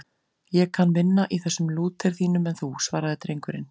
Ég kann minna í þessum Lúter þínum en þú, svaraði drengurinn.